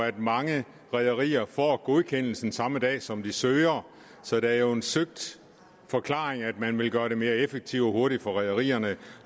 at mange rederier får godkendelsen samme dag som de søger så det er jo en søgt forklaring at man vil gøre det mere effektivt og hurtigt for rederierne